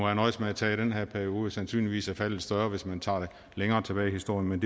jeg nøjedes med at tage den her periode og sandsynligvis er tallet større hvis man tager det længere tilbage i historien men